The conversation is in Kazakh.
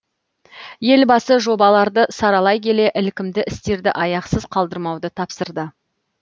елбасы жобаларды саралай келе ілкімді істерді аяқсыз қалдырмауды тапсырды